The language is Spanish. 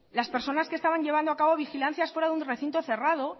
las personas que estaban llevando a cabo vigilancias fuera de un recinto cerrado